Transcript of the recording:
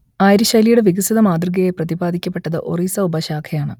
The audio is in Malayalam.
ആര്യ ശൈലിയുടെ വികസിത മാതൃകയായി പ്രതിപാദിക്കപ്പെട്ടത് ഒറീസ ഉപശാഖയാണ്